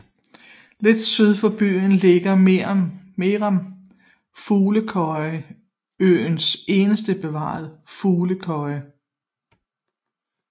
Lidt syd for byen ligger med Meeram Fuglekøje øens eneste bevarede fuglekøje